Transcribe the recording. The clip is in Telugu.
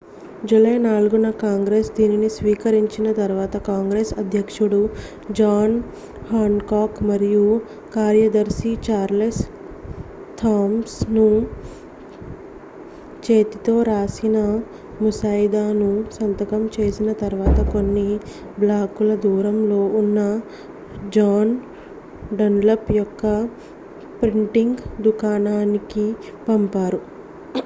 జూలై 4న కాంగ్రెస్ దీనిని స్వీకరించిన తరువాత కాంగ్రెస్ అధ్యక్షుడు జాన్ హ్యాన్కాక్ మరియు కార్యదర్శి చార్లెస్ థామ్సన్ చేతితో రాసిన ముసాయిదాను సంతకం చేసిన తర్వాత కొన్ని బ్లాకుల దూరంలో ఉన్న జాన్ డన్లప్ యొక్క ప్రింటింగ్ దుకాణానికి పంపారు